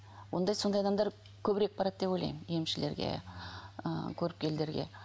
ондай сондай адамдар көбірек барады деп ойлаймын емшілерге ыыы көріпкелдерге